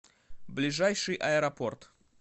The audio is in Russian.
ближайший аэропорт